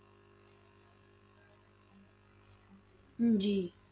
ਜੀ।